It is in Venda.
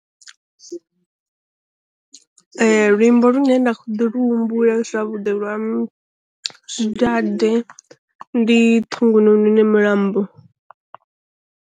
Luimbo lune nda kho ḓi lu humbule zwavhuḓi lwa zwi dade ndi ṱhungununu ne mulambo.